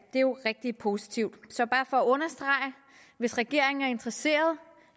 det er jo rigtig positivt så at hvis regeringen er interesseret